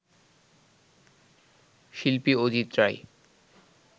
শিল্পী অজিত রায়